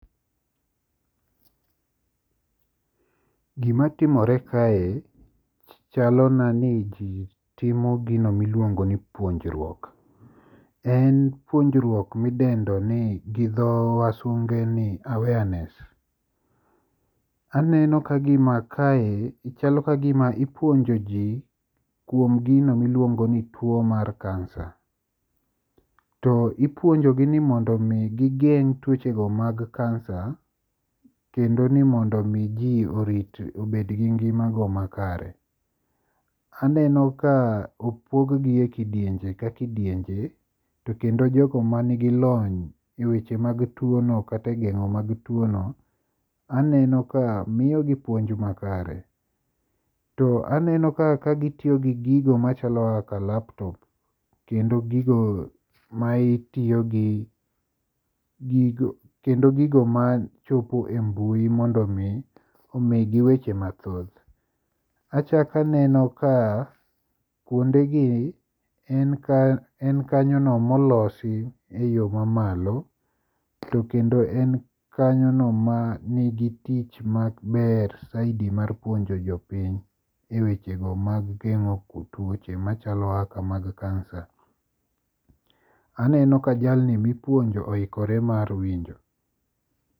Gima timore kae chalona ni ji timo gino miluongo ni puonjruok. En puonjruok midengo gi dho wasunge ni awareness. Aneno kagima kae chalo kagima ipuonjo ji kuom gino ma iluongo ni tuo mar kansa to ipuonjo gi ni mondo mi gigeng' tuochego mag kansa kendo ni mondo mi ji obed gi ngimago makare. Aneno ka opog gi e kidienje ka kidienje to kendo jogo man gi lony eweche mag tuono kata e geng'o mag tuono aneno ka miyogi puonj makare. To aneno ka gitiyo gi gigo machalo kaka laptop kendo gigo ma tiyo gi gigo kendo gigo machopo e mbui mondo omigi weche mahoth. Achako aneno ka kuondegi en kanyono molosi e yo mamalo to kendo en kanyono manigi tich maber saidi mar puonjo jopiny eweche go mag geng'o tuoche machalo kaka kansa. Aneno ka jali be oikore mar winjo.